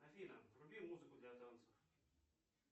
афина вруби музыку для танцев